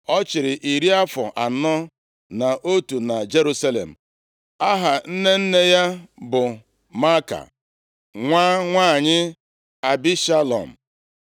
Ọ chịrị iri afọ anọ na otu na Jerusalem. Aha nne nne ya bụ Maaka, nwa nwanyị Abishalom.